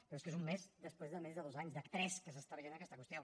però és que és un mes després de més dos anys de tres que s’està veient aquesta qüestió